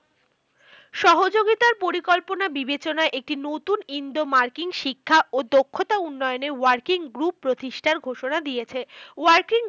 সহযোগিতার পরিকল্পনা বিবেচনা একটি নতুন Indo মার্কিন শিক্ষা ও দক্ষতা উন্নয়নে working group প্রতিষ্ঠার ঘোষণা দিয়েছে। working